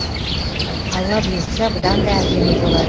алла бұйыртса бұдан да әдемі болады